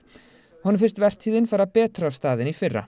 honum finnst vertíðin fara betur af stað en í fyrra